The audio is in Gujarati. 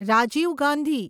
રાજીવ ગાંધી